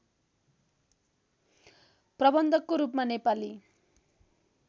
प्रबन्धकको रूपमा नेपाली